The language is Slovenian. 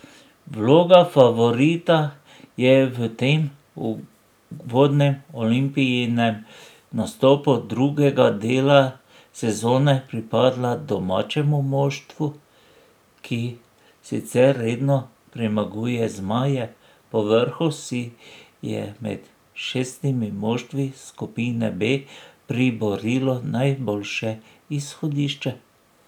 Vloga favorita je v tem uvodnem Olimpijinem nastopu drugega dela sezone pripadla domačemu moštvu, ki sicer redno premaguje zmaje, povrhu si je med šestimi moštvi skupine B priborilo najboljše izhodišče.